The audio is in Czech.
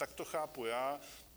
Tak to chápu já.